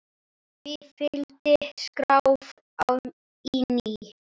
Því fylgdi skrjáf í ná